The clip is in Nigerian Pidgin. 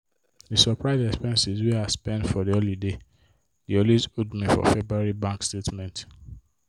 the surprise expenses wey i spend for the holiday dey always hold me for february bank statement.